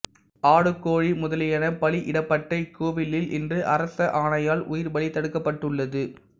ஆடு கோழி முதலியன பலியிடப்பட்ட இக்கோவிலில் இன்று அரச ஆணையால் உயிர்ப்பலி தடுக்கப்பட்டுள்ளது